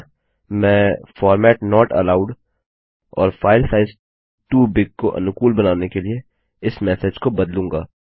अतः मैं format not allowed or file size too big को अनुकूल बनाने के लिए इस मेसेज को बदलूँगा